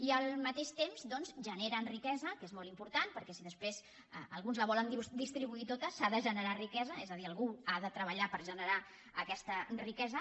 i al mateix temps doncs generen riquesa que és molt important perquè si després alguns la volen distribuir tota s’ha de generar riquesa és a dir algú ha de treballar per generar aquesta riquesa